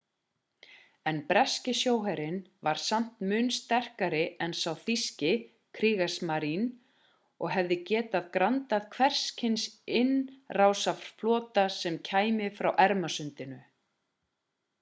en breski sjóherinn var samt mun sterkari en sá þýski kriegsmarine og hefði getað grandað hvers kyns innrásarflota sem kæmi frá ermasundinu